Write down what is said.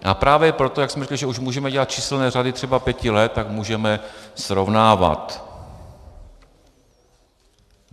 A právě proto, jak jsme řekli, že už můžeme dělat číselné řady třeba pěti let, tak můžeme srovnávat.